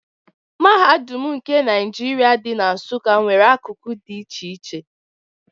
Mahadum nke Naijiria, dị na Nsụka nwere akụkụ dị iche iche.